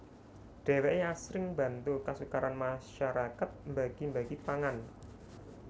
Dheweké asring bantu kasukaran masarakat mbagi mbagi pangan